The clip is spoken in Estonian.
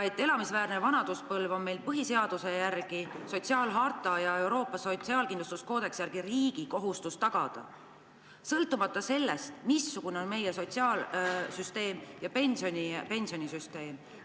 Meie põhiseaduse järgi, Euroopa sotsiaalharta ja Euroopa sotsiaalkindlustuskoodeksi järgi on riigi kohustus tagada inimestele elamisväärne vanaduspõlv, sõltumata sellest, missugune on sotsiaalsüsteem ja pensionisüsteem.